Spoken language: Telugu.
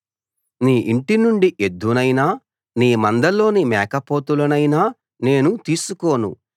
నీ ఇంటి నుండి ఎద్దునైనా నీ మందలోని మేకపోతులనైనా నేను తీసుకోను